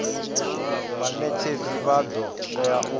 vhanetshedzi vha do tea u